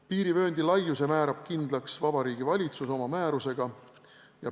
Piirivööndi laiuse määrab kindlaks Vabariigi Valitsus oma määrusega.